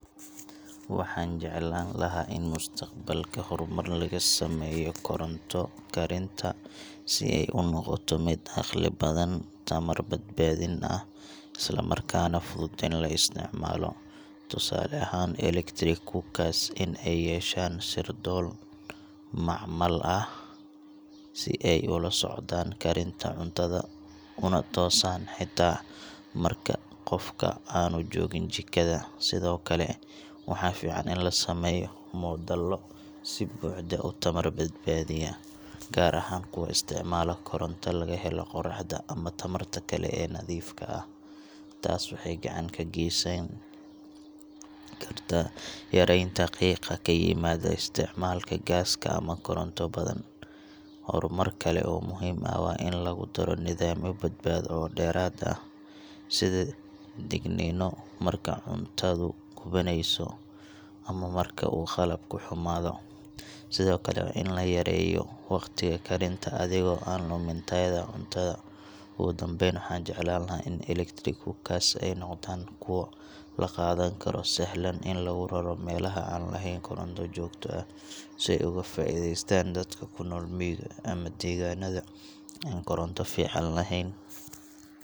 Waxaan jeclaan lahaa in mustaqbalka horumar laga sameeyo koronto-karinta si ay u noqoto mid caqli badan, tamar-badbaadin ah, isla markaana fudud in la isticmaalo. Tusaale ahaan, electric cookers in ay yeeshaan sirdoon macmal ah si ay ula socdaan karinta cuntada, una toosaan xitaa marka qofka aanu joogin jikada. Sidoo kale, waxaa fiican in la sameeyo moodallo si buuxda u tamar-badbaadiya, gaar ahaan kuwa isticmaala koronto laga helo qorraxda ama tamarta kale ee nadiifka ah. Taas waxay gacan ka geysan kartaa yareynta qiiqa ka yimaada isticmaalka gaaska ama koronto badan. Horumar kale oo muhiim ah waa in lagu daro nidaamyo badbaado oo dheeraad ah, sida digniino marka cuntadu gubaneyso, ama marka uu qalabku xumaado. Sidoo kale, waa in la yareeyo waqtiga karinta adigoo aan lumin tayada cuntada. Ugu dambayn, waxaan jeclaan lahaa in electric cookers ay noqdaan kuwo la qaadan karo, sahlan in lagu raro meelaha aan lahayn koronto joogto ah, si ay uga faa’iidaystaan dadka ku nool miyiga ama deegaannada aan koronto fiican lahayn.